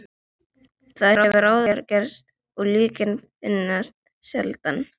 Það hefur áður gerst og líkin finnast sjaldan.